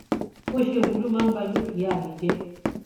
bó ṣe wù ú ló máa ń ba dúkìá mi jẹ